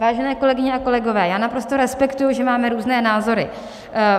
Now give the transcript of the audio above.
Vážené kolegyně a kolegové, já naprosto respektuji, že máme různé názory.